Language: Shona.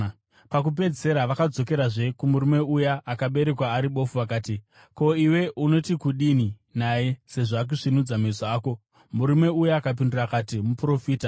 Pakupedzisira vakadzokerazve kumurume uya akaberekwa ari bofu vakati, “Ko, iwe unoti kudini naye, sezvo akasvinudza meso ako.” Murume uya akapindura akati, “Muprofita.”